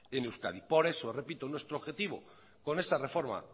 en euskadi por eso repito nuestro objetivo con esa reforma